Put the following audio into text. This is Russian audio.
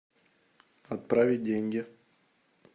отправить деньги